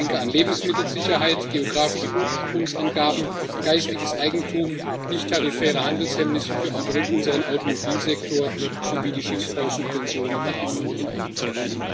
Ich denke an Lebensmittelsicherheit, geografische Ursprungsangaben, geistiges Eigentum, nichttarifäre Handelshemmnisse für unseren Automobilsektor, sowie die Schiffsbausubventionen, die einfach nicht in Ordnung sind.